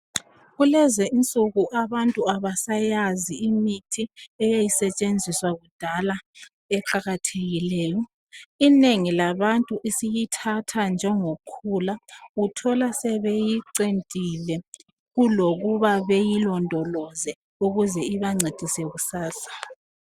Kulezi insuku abantu abasayazi imithi eyayisetshenziswa kudala eqakathekileyo. Inengi labantu isiyithatha njengokhula. Uthola sebeyicentile kulokuba beyilondoloze ukuze ibancedise kusasa